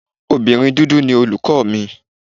Obìnrin dúdú ni olùkọ́ mi.